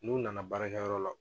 N'u nana baarakɛyɔrɔ la